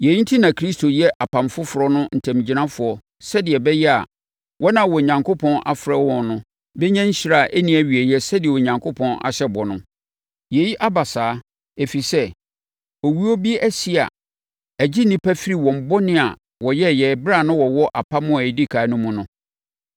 Yei enti na Kristo yɛ apam foforɔ no ntamgyinafoɔ sɛdeɛ ɛbɛyɛ a, wɔn a Onyankopɔn afrɛ wɔn no bɛnya nhyira a ɛnni awieeɛ sɛdeɛ Onyankopɔn ahyɛ bɔ no. Yei aba saa, ɛfiri sɛ, owuo bi asi a ɛgye nnipa firi wɔn bɔne a wɔyɛɛ ɛberɛ a na wɔwɔ apam a ɛdi ɛkan no mu no.